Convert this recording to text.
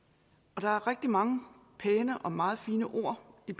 og der er rigtig mange pæne og meget fine ord i